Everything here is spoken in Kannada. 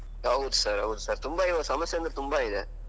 ಹೌದು sir ಹೌದು sir ತುಂಬಾ ಇವಾಗ ಸಮಸ್ಯೆ ಅಂದ್ರೆ ತುಂಬಾ ಇದೆ.